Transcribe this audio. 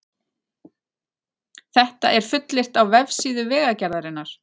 Þetta er fullyrt á vefsíðu Vegagerðarinnar